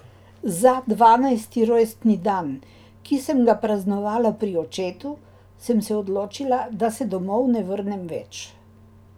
Za dvanajsti rojstni dan, ki sem ga praznovala pri očetu, sem se odločila, da se domov ne vrnem več.